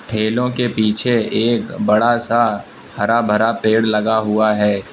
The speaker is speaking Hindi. ठेलो के पीछे एक बड़ा सा हरा भरा पेड़ लगा हुआ है।